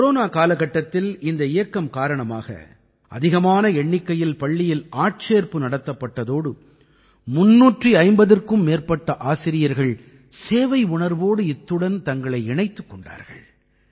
corona காலகட்டத்தில் இந்த இயக்கம் காரணமாக அதிகமான எண்ணிக்கையில் பள்ளியில் ஆட்சேர்ப்பு நடத்தப்பட்டதோடு 350க்கும் மேற்பட்ட ஆசிரியர்கள் சேவையுணர்வோடு இத்துடன் தங்களை இணைத்துக் கொண்டார்கள்